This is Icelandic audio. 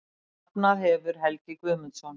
Safnað hefur Helgi Guðmundsson.